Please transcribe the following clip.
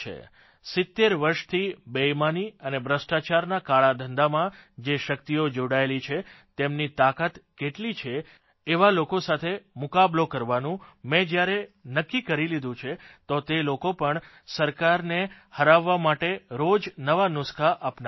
70 વર્ષથી બેઇમાની અને ભ્રષ્ટાચારના કાળા ધંધામાં જે શકિતઓ જોડાયેલી છે તેમની તાકાત કેટલી છે એવા લોકો સાથે મુકાબલો કરવાનું મેં જયારે નક્કી કરી લીધું છે તો તે લોકો પણ સરકારને હરાવવા માટે રોજ નવા નુસ્ખા અપનાવે છે